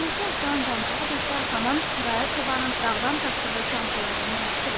Hüzurunuzda oturan Canpolad isə Haman qaya çobanın dağdan tapdığı Canpoladın nəvəsidir.